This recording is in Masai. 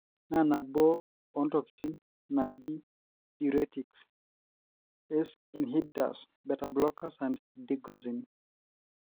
na naboo ontokitin naaji diuretics, Ace inhibitors, beta blockers and digoxin.